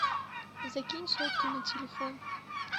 закинь сотку на телефон